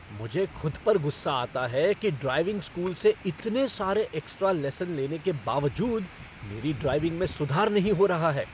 मुझे खुद पर गुस्सा आता है कि ड्राइविंग स्कूल से इतने सारे एक्स्ट्रा लेसन लेने के बावजूद मेरी ड्राइविंग में सुधार नहीं हो रहा है।